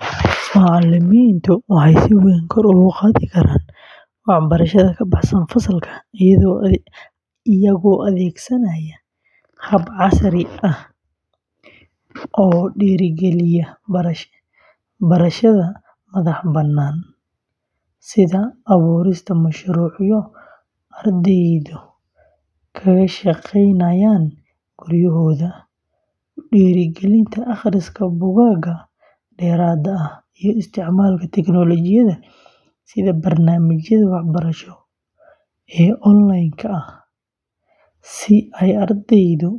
Macalimiintu waxay si weyn kor ugu qaadi karaan waxbarashada ka baxsan fasalka iyagoo adeegsanaya habab casri ah oo dhiirrigeliya barashada madaxbannaan, sida abuurista mashruucyo ardaydu kaga shaqeynayaan guryahooda, ku dhiirrigelinta akhriska buugaag dheeraad ah, iyo isticmaalka teknoolojiyadda sida barnaamijyada waxbarasho ee onlaynka ah si ay ardaydu